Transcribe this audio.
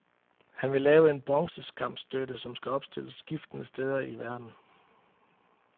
Han vil lave en bronzeskamstøtte, som skal opstilles skiftende steder i verden.